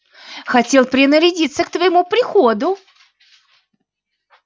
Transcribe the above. хотел принарядиться к твоему приходу